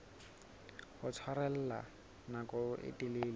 ho tshwarella nako e telele